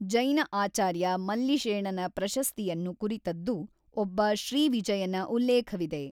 ಜೈನಆಚಾರ್ಯ ಮಲ್ಲಿಷೇಣನ ಪ್ರಶಸ್ತಿಯನ್ನು ಕುರಿತದ್ದು ಒಬ್ಬ ಶ್ರೀವಿಜಯನ ಉಲ್ಲೇಖವಿದೆ.